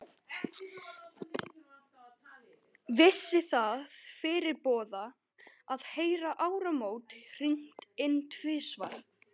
Vissi það fyrirboða, að heyra áramót hringd inn tvisvar.